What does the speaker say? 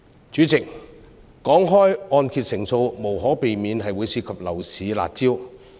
主席，談到按揭成數，無可避免會涉及樓市的"辣招"。